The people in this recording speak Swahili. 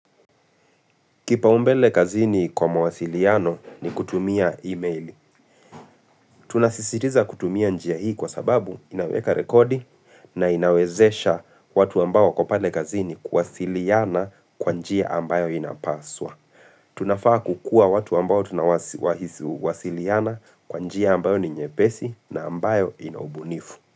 Kipaumbele kazini kwa mwasiliano ni kutumia email. Tunasisitiza kutumia njia hii kwa sababu inaweka rekodi na inawezesha watu ambao wako pale kazini kuwasiliana kwa njia ambayo inapaswa. Tunafaa kukua watu ambao tunawasiliana kwa njia ambayo ni nyepesi na ambayo ina ubunifu.